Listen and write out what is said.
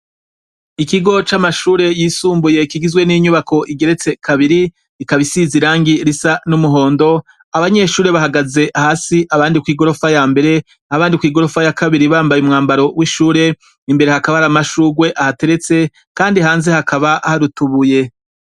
Ikigo c’amashure yisumbuye kigizwe n’inyubako igeretse kabiri ikaba isize irangi risa n’umuhondo, abanyeshure bahagaze hasi abandi kw’igorofa yambere abandi kw’igorofa ya kabiri bambaye umwambaro w’ishure, imbere hakaba har’amashurwe ahateretse kandi hanze hakaba har’utubuye.